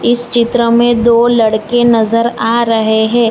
इस चित्र में दो लड़के नजर आ रहे हैं।